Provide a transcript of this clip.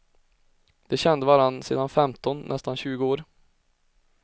De kände varandra sedan femton, nästan tjugo år.